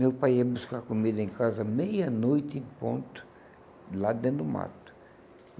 Meu pai ia buscar comida em casa meia-noite em ponto, de lá de dentro do mato.